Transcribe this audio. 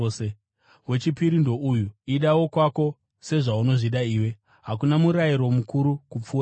Wechipiri ndouyu: ‘Ida wokwako sezvaunozvida iwe.’ Hakuna murayiro mukuru kupfuura iyi.”